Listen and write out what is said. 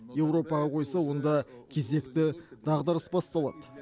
еуропаға қойса онда кезекті дағдарыс басталады